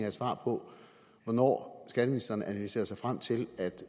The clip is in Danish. et svar på hvornår skatteministeren analyserede sig frem til at